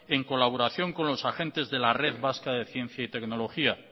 en colaboración con los agentes de la red vasca de ciencia y tecnología